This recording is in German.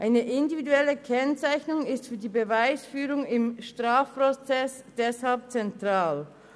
Eine individuelle Kennzeichnung ist für die Beweisführung im Strafprozess deshalb zentral.